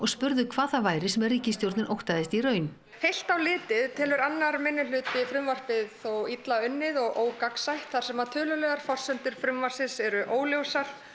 spurðu hvað það væri sem ríkisstjórnin óttaðist í raun heilt á litið telur annar minnihluti frumvarpið illa unnið og ógagnsætt þar sem tölulegar forsendur frumvarpsins eru óljósar